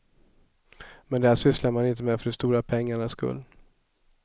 Men det här sysslar man inte med för de stora pengarnas skull.